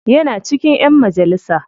Yana cikin ƴan majalisa.